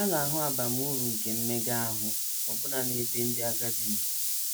A na - ahụ abamuru nke mmega ahụ ọbụna n’ebe ndị agadi nọ.